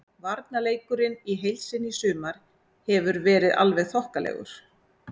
Varnarleikurinn í heild sinni í sumar hefur verið alveg þokkalegur.